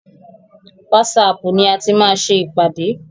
Wásaapù ni a ti máa ṣe ìpàdé.